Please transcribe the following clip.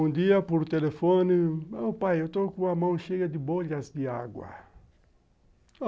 Um dia, por telefone, meu pai, eu estou com a mão cheia de bolhas de água.